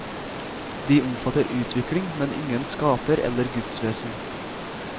De omfatter utvikling, men ingen skaper eller gudsvesen.